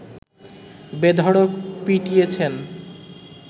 বেধড়ক পিটিয়েছেন